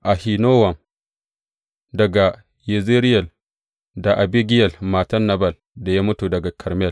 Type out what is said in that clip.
Ahinowam daga Yezireyel da Abigiyel matar Nabal da ya mutu daga Karmel.